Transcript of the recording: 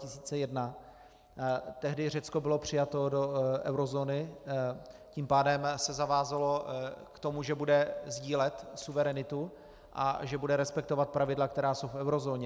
Tehdy Řecko bylo přijato do eurozóny, tím pádem se zavázalo k tomu, že bude sdílet suverenitu a že bude respektovat pravidla, která jsou v eurozóně.